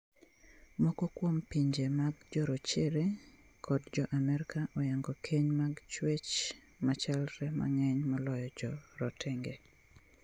Moko kuom pinje mag jorachere kod jo Amerika oyango keny mag chuech machalre mang'eny moloyo joratenge.